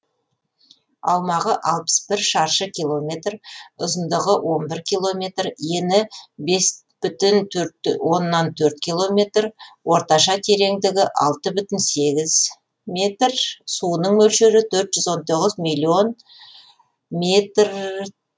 аумағы алпыс бір шаршы километр ұзындығы он бір километр ені бес бүтін оннан төрт километр орташа тереңдігі алты бүтін сегіз метр суының мөлшері төрт жүз он тоғыз миллион метр